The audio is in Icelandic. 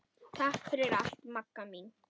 Takk fyrir allt Magga mín.